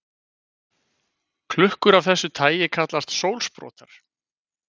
Klukkur af þessu tagi kallast sólsprotar.